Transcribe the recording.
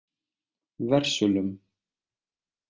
Versölum